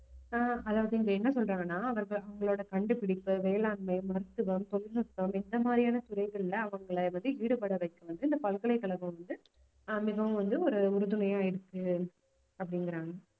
ஆஹ் அதாவது என்ன சொல்றாங்கன்னா அவங்களோட கண்டுபிடிப்பு வேளாண்மை, மருத்துவம், தொழில்நுட்பம் இந்த மாதிரியான துறைகள்ல அவங்களை வந்து ஈடுபட வைக்கணும்னு இந்த பல்கலைக்கழகம் வந்து ஆஹ் மிகவும் வந்து ஒரு உறுதுணையா இருக்கு அப்படிங்கிறாங்க